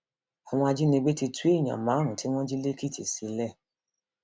àwọn ajínigbé ti tú èèyàn márùnún tí wọn jí lẹkìtì sílẹ